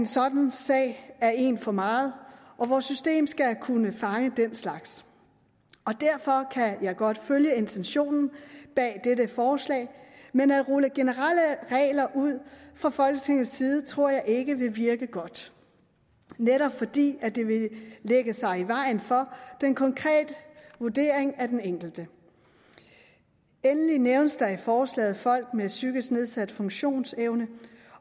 sådanne sager er en for meget og vores system skal kunne fange den slags derfor kan jeg godt følge intentionen bag dette forslag men at rulle generelle regler ud fra folketingets side tror jeg ikke vil virke godt netop fordi det vil lægge sig i vejen for den konkrete vurdering af den enkelte endelig nævnes i forslaget folk med psykisk nedsat funktionsevne